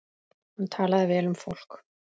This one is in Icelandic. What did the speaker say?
Hún talaði vel um fólk.